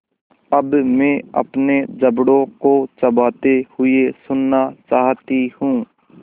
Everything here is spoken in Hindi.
अब मैं अपने जबड़ों को चबाते हुए सुनना चाहती हूँ